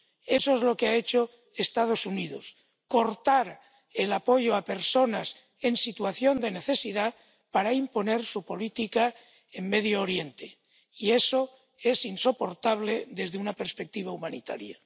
Eso es lo que han hecho los Estados Unidos cortar el apoyo a personas en situación de necesidad para imponer su política en Oriente Próximo, y eso es insoportable desde una perspectiva humanitaria.